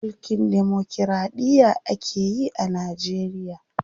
Mulkin demokiraɗiya akeyi a Najeriya.